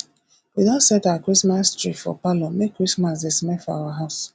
we don set our christmas tree for parlour make christmas dey smell for our house